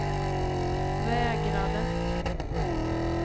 vägrade